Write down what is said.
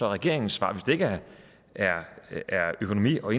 regeringens svar hvis det ikke er økonomi og